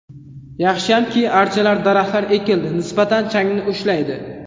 Yaxshiyamki, archalar, daraxtlar ekildi, nisbatan changni ushlaydi.